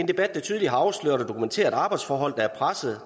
debat der tydeligt har afsløret og dokumenteret arbejdsforhold der er pressede